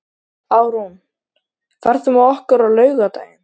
Árún, ferð þú með okkur á laugardaginn?